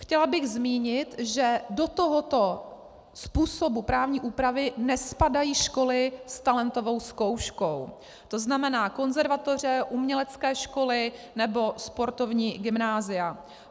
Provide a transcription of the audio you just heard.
Chtěla bych zmínit, že do tohoto způsobu právní úpravy nespadají školy s talentovou zkouškou, to znamená konzervatoře, umělecké školy nebo sportovní gymnázia.